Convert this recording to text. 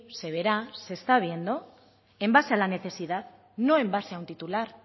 se verá se está viendo en base a la necesidad no en base a un titular